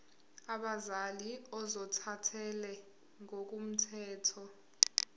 abazali ozothathele ngokomthetho